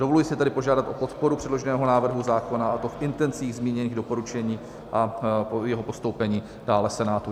Dovoluji si tedy požádat o podporu předloženého návrhu zákona, a to v intencích zmíněných doporučení, a jeho postoupení dále Senátu.